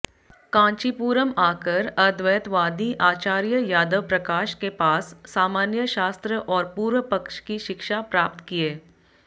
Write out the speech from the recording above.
कांचीपुरम आकर अद्वैतवादी आचार्य यादवप्रकाश के पास सामान्य शास्त्र और पूर्वपक्ष की शिक्षा प्राप्त किये